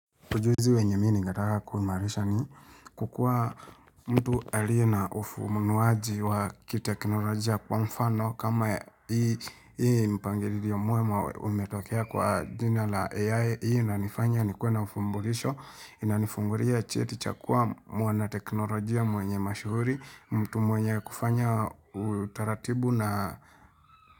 Ujuzi wenye mini ngataka kuimarisha ni kukua mtu alie na ufumnuaji wa kiteknolojia kwa mfano kama hii mpangilio ya muema umetokea kwa jina la AI hii na nifanya ni kuena ufumbulisho inanifungulia cheti chakua mwana teknolojia mwenye mashuhuri mtu mwenye kufanya utaratibu na.